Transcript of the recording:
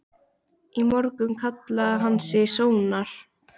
Í morgun kallaði hann sig Sónar.